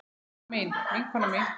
Elsku amma mín, vinkona mín.